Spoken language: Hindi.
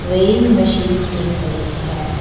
वेइंग मशीन दिख रही है।